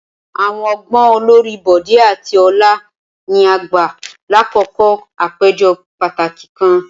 Awọn ọgbọn olori Bode ati Ola ni a gba lakoko apejọ pataki kan.